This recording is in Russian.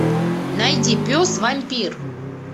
найди пес вампир